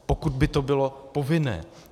Pokud by to bylo povinné.